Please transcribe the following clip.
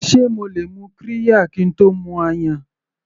Sé mo lè mu qirya kín tó mu ayan.